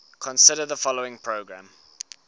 consider the following program